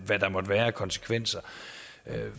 hvad der måtte være af konsekvenser